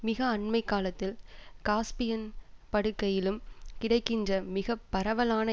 மிக அண்மை காலத்தில் காஸ்பியன் படுக்கையிலும் கிடைக்கின்ற மிகப்பரவலான